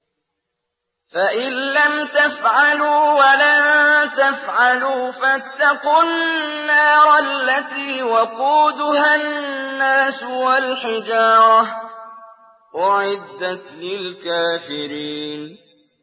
فَإِن لَّمْ تَفْعَلُوا وَلَن تَفْعَلُوا فَاتَّقُوا النَّارَ الَّتِي وَقُودُهَا النَّاسُ وَالْحِجَارَةُ ۖ أُعِدَّتْ لِلْكَافِرِينَ